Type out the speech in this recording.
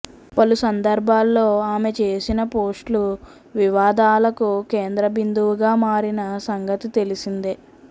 పలు సందర్భాల్లో ఆమె చేసిన పోస్టులు వివాదాలకు కేంద్ర బిందువుగా మారిన సంగతి తెలిసిందే